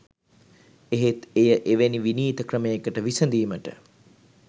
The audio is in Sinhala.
එහෙත් එය එවැනි විනීත ක්‍රමයකට විසඳීමට